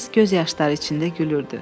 Qız göz yaşları içində gülürdü.